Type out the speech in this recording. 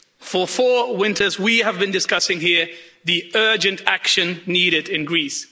For four winters we have been discussing here the urgent action needed in Greece.